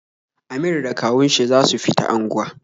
Amir da kawun shi za su fita angwa